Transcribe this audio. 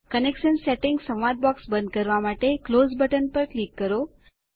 connection settings સંવાદ box બંધ કરવા માટે ક્લોઝ બટન પર ક્લિક કરો